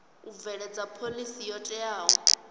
u bveledza phoḽisi yo teaho